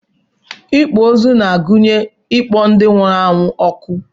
Ịkpọ ozu na-agụnye ịkpọ ndị nwụrụ anwụ ọkụ